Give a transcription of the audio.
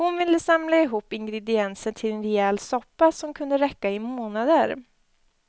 Hon ville samla ihop ingredienser till en rejäl soppa, som kunde räcka i månader.